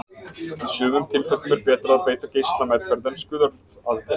í sumum tilfellum er betra að beita geislameðferð en skurðaðgerð